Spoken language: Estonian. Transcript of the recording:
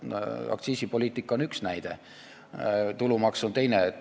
Aktsiisipoliitika on üks näide, tulumaks on teine.